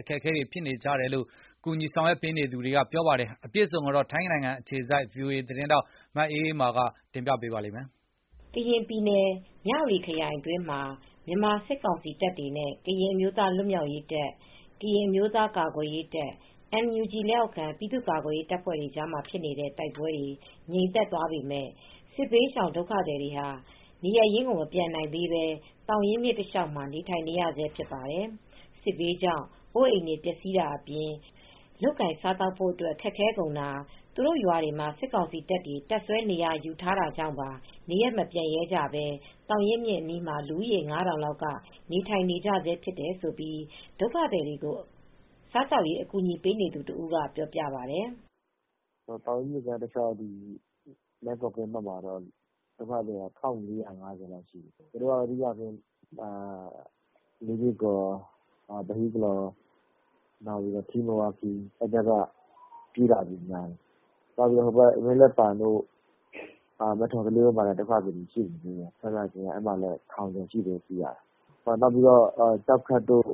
အခက်အခဲတွေနဲ့ ရင်ဆိုင်နေရတယ်လို့လည်း ပြောပါတယ်။ အပြည့်အစုံကိုတော့ ထိုင်းအခြေစိုက် ဗွီအိုအေ မြန်မာပိုင်း သတင်းထောက် မအေးအေးမာက ပြောပြပေးပါမယ်။ ကရင်ပြည်နယ် မြဝတီခရိုင်အတွင်းမှာ မြန်မာစစ်ကောင်စီတပ်တွေနဲ့ ကရင်အမျိုးသားလွတ်မြောက်ရေးတပ်၊ ကရင်အမျိုသားကာကွယ်ရေးတပ် ၊NUG လက်အောက်ခံပြည်သူ့ကာကွယ်ရေးတပ်ဖွဲ့တွေကြားမှာ ဖြစ်နေတဲ့တိုက်ပွဲတွေငြိမ်သက်သွားပေမယ့် စစ်ဘေးရှောင်ဒုက္ခသည်တွေဟာ နေရပ်ရင်းကိုမပြန်နိုင်သေးပဲ သောင်ရင်းမြစ်တလျှောက်မှာ နေထိုင်နေကြရစဲပါ။ စစ်ဘေးကြောင့် အိုးအိမ်တွေပျက်ဆီးတာအပြင် လုပ်ကိုင်စားသောက်ဖို့အတွက် ခက်ခဲကုန်တာ သူတို့ရွာတွေမှာ စစ်ကောင်စီတပ်တွေ တပ်စွဲနေရာယူထားတာကြောင့်ပါ နေရပ်မပြန်ရဲကြပဲ သောင်ရင်းမြစ်အနီးမှာ လူဦးရေ ၅ထောင်လောက်က နေထိုင်နေကြစဲလို့ ဒုက္ခသည်တွေကို စားသောက်ရေးအကူညီပေးနေသူတဦးကပြောပြပါတယ်။ " သောင်ရင်းမြစ်ကမ်းတလျှောက် မယ်ကိုကင်း တဖက်ခြမ်းမှာ ဒုက္ခသည်က ၁၄၅၀လောက်ရှိတယ်။ သူတိုကတော့ လေးကေ့ကော်၊ ပဟိကလော်၊ ထီးမယ်ဝါးခီး ဖက်တွေကပြေးလာတဲ့ ဒုက္ခသည်တွေများတယ် ။ မင်းလက်ပံတို့ ၊ မယ့်ထော်သလေးဘက်မှာလည်း ဒုက္ခသည် တထောင်ကျော်ရှိတယ်။နောက်ပြီးတော့ ကျောက်ခက်တို့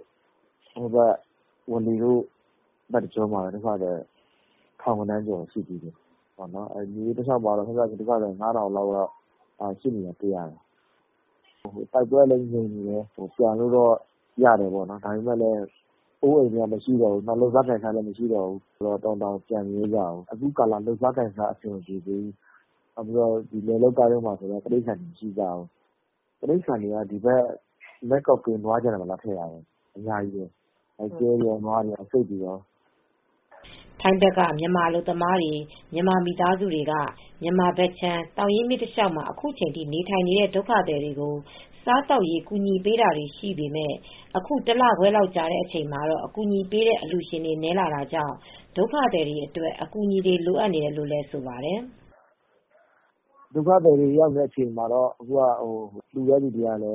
ဝါးလေတို့အဲဒီဘက်တကျောမှာလည်း ဒုက္ခသည်တွေထောင်ဂဏန်းလောက်ရှိကြတယ်။ မြစ်တလျောက်မှာတော့ ဒုက္ခသည် ၅ထောင်လောက်ရှိနေသေးတာတွေ့ရတယ်။ တိုက်ပွဲကလည်းငြိမ်နေတယ် ပြန်လို့တော့ရတယ်ပေါ့နော်။ ဒါပေမယ့်အိုးအိမ်တွေ မရှိတော့တာ လုပ်စားကိုင်စားဖို့လည်းမလွယ်တော့တော်ရုံနဲ့တော့ မပြန်ရဲကြဘူးအခုကာလမှာလုပ်စားကိုင်စားဖို့လည်းအဆင်မပြေသေးဘူး လယ်လုပ်စားဖို့လည်း တိရိစ္ဆာန်တွေက မရှိတော့ဘူး။ မယ်ကို့ကင်း ၊ဒီဘက်ကမ်းနွားခြံထဲမှာ လာထားကြတယ်။ တိရိစ္ဆာန်တွေမရှိတော့ဘူး။ကျွဲတွေ၊ နွားတွေ၊ ဆိတ်တွေအများကြီးပဲ" ထိုင်းဘက်ကမြန်မာအလုပ်သမားတွေ မြန်မာမိသားစုတွေက မြန်မာဘက်ခြမ်း သောင်ရင်းမြစ်တလျောက်မှာ အခုချိန်ထိ နေထိုင်နေတဲ့ ဒုက္ခသည်တွေကို စားသောက်ရေး ကူညီပေးတာတွေရှိပေမယ့် အခုတလခွဲလောက်ကြာတဲ့အချိန်မှာတော့ အကူညီပေးတဲ့ အလှူရှင်တွေနည်းလာတာကြောင့် ဒုက္ခသည်တွေအတွက် အကူညီတွေလိုအပ်နေတယ်လို့လည်းဆိုပါတယ်။ "ဒုက္ခသည်တွေ ရောက်နေတဲ့နေရာမှာတော့ အခုက လှူတဲ့အလှူရှင်တွေကလ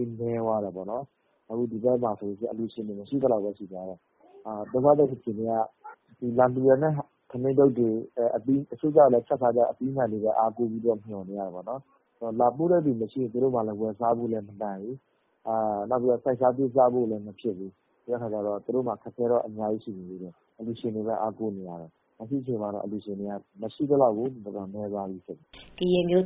ည်း နည်းသွားကြပြီ။ ဒီဘက်မှာ အလှူရှင်တွေက မရှိသလောက်ဖြစ်သွားပြီ။ ဒုက္ခသည်တွေက ဒီဘက်ကလှူတဲ့ ထမင်းထုတ်တွေကိုပဲအားကိုးရတယ် ချက်ပြုတ်စားဖို့အသီးအနှံတွေကိုပဲမျှော်နေရတယ်။ သူတိုကဝယ်စားဖို့လည်းမနိုင်ဘူး။စိုက်ပျိုးစားဖို့လည်းမလွယ်ဘူး။ အခုချိန်မှာ အလှူရှင်တွေကိုပဲ အားကိုးပြီး မျှော်နေရတယ်။အလှူရှင်တွေကလည်း မရှိသလောက်ပဲ" ကရင်အမျိုးသားအစည်းအရုံး KNU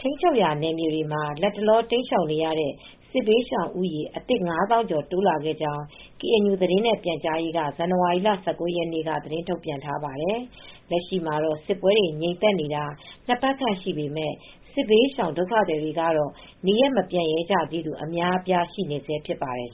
ထိန်းချုပ်နယ်မြေတွေမှာ လတ်တလော တိမ်းရှောင်နေရတဲ့ စစ်ရှောင်ဦးရေ အသစ် ၅သောင်းကျော် ထပ်တိုးလာကြောင်း KNU သတင်းနဲ့ ပြန်ကြားရေးဌာနက ဇန်နဝါရီလ၁၉ ရက်နေ့က သတင်းထုတ်ပြန်ခဲ့ပါတယ် ။ လက်ရှိမှာတော့ စစ်ပွဲတွေငြိမ်သက်နေတာ ၂ပတ်ခန့်ရှိပေမယ့် စစ်ဘေးရှောင် ဒုက္ခသည်တွေကတော့ နေရပ်မပြန်ရဲကြသေးသူတွေက အများအပြားရှိနေစဲ ဖြစ်ပါတယ်